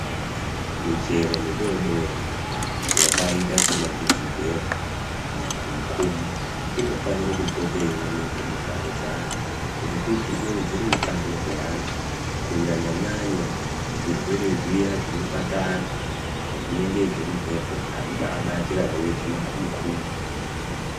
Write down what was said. Michero midodori yakaita sema guzubhera, makhumukhumu inofanira kupota yeioneka mumphatso dzeanthu, ngekuti inowedzera utano hweanhu. Kunyanyanya zvirwere zviya zvinobata anthu zvinonga zvemumphepo azvibaabati kana weirhya makhumukhumu.